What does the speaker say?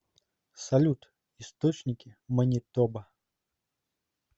салют источники манитоба